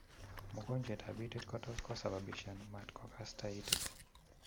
Mongonjwettab itiit ko tos kosababishan matkokasta itit